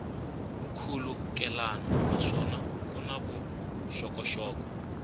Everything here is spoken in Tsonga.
nkhulukelano naswona ku na vuxokoxoko